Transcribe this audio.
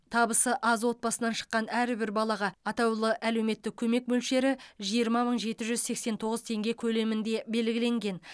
табысы аз отбасынан шыққан әрбір балаға атаулы әлеуметтік көмек мөлшері жиырма мың жеті жүз сексен тоғыз теңге көлемінде белгіленген